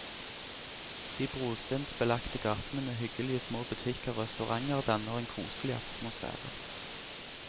De brostensbelagte gatene med hyggelige små butikker og resturanter danner en koselig atmosfære.